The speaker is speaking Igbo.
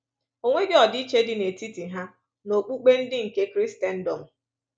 O nweghị ọdịiche dị n’etiti ha na okpukpe ndị nke Krisendọm.